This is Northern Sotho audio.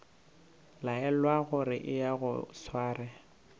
laelwa gore eya o sware